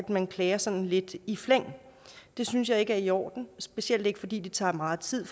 man klager sådan lidt i flæng det synes jeg ikke er i orden specielt ikke fordi det tager megen tid